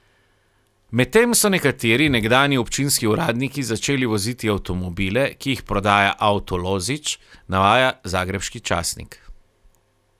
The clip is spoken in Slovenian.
Medtem so nekateri nekdanji občinski uradniki začeli voziti avtomobile, ki jih prodaja Auto Lozić, navaja zagrebški časnik.